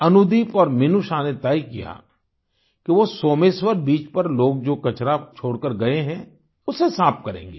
अनुदीप और मिनूषा ने तय किया कि वो सोमेश्वर बीच पर लोग जो कचरा छोड़कर गए हैं उसे साफ करेंगे